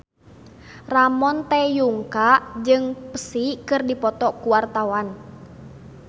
Ramon T. Yungka jeung Psy keur dipoto ku wartawan